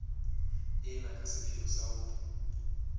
ena ka sepheo sa ho